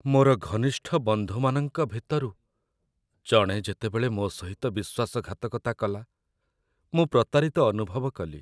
ମୋର ଘନିଷ୍ଠ ବନ୍ଧୁମାନଙ୍କ ଭିତରୁ ଜଣେ ଯେତେବେଳେ ମୋ ସହିତ ବିଶ୍ୱାସଘାତକତା କଲା ମୁଁ ପ୍ରତାରିତ ଅନୁଭବ କଲି।